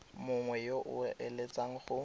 mongwe yo o eletsang go